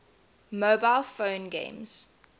mobile phone games